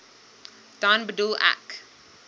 dan bedoel ek